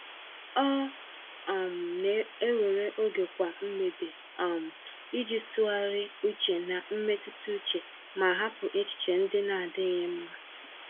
Ọ um na-ewere oge kwa mgbede um iji tụgharị uche na mmetụta uche ma hapụ echiche ndị na-adịghị mma.